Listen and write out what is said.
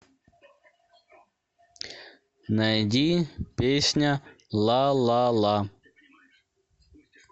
найди песня лалала